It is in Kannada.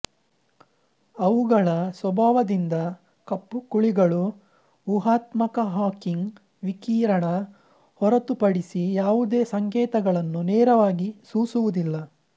ಅವುಗಳ ಸ್ವಭಾವದಿಂದ ಕಪ್ಪು ಕುಳಿಗಳು ಉಹಾತ್ಮಕ ಹಾಕಿಂಗ್ ವಿಕಿರಣ ಹೊರತುಪಡಿಸಿ ಯಾವುದೇ ಸಂಕೇತಗಳನ್ನು ನೇರವಾಗಿ ಸೂಸುವುದಿಲ್ಲ